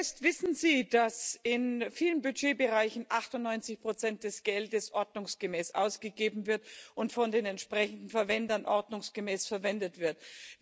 Herr Fest, wissen Sie, dass in vielen Budgetbereichen 98 des Geldes ordnungsgemäß ausgegeben werden und von den entsprechenden Verwendern ordnungsgemäß verwendet werden?